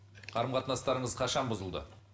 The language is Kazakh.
қарым қатынастарыңыз қашан бұзылды